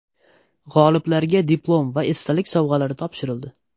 G‘oliblarga diplom va esdalik sovg‘alari topshirildi.